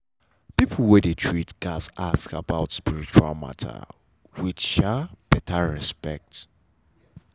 people when dey treat gats ask about spiritual matter with um better respect.